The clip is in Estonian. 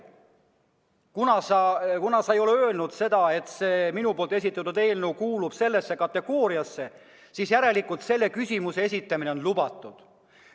Sa ei ole öelnud, et minu esitatud eelnõu kuulub mõnda nendest kategooriatest, järelikult selle küsimuse esitamine on lubatud.